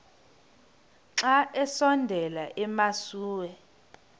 xa besondela emasuie